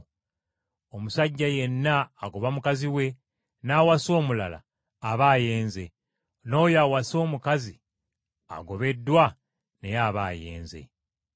“Omusajja yenna agoba mukazi we n’awasa omulala aba ayenze; n’oyo awasa omukazi agobeddwa, naye aba ayenze.”